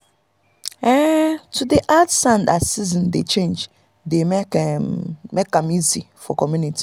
um to dey add sand as season dey change dey make um am easy for community.